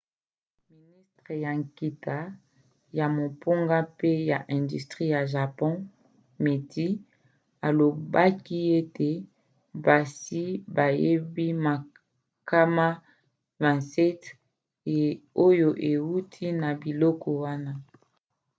ministre ya nkita ya mombongo mpe ya industrie ya japon meti alobaki ete basi bayebi makama 27 oyo euti na biloko wana